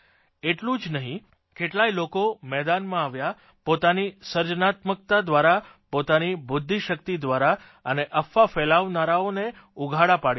એટલું જ નહીં કેટલાય લોકો મેદાનમાં આવ્યા પોતાની સર્જનાત્મકતા દ્વારા પોતાની બુદ્ધિશકિત દ્વારા અને અફવા ફેલાવનારાઓને ઉઘાડા પાડી દીધા